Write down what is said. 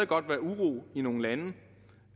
godt være uro i nogle lande